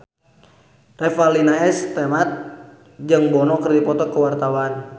Revalina S. Temat jeung Bono keur dipoto ku wartawan